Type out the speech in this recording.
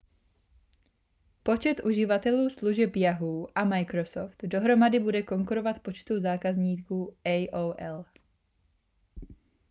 počet uživatelů služeb yahoo a microsoft dohromady bude konkurovat počtu zákazníků aol